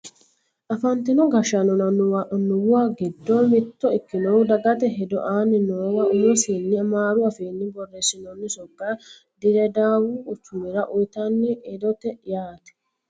afantino gashshaanonna annuwa giddo mitto ikkinohu dagate hedo aanni noowa umosiinni amaaru afiinni borreessinoonni sokka dirredaawu quchumira uyiitanno hedooti yaate